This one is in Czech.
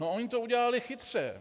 No oni to udělali chytře.